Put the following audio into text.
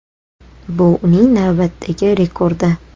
Bu uning navbatdagi rekordi.